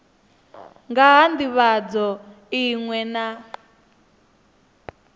nga ha ndivhadzo iṅwe na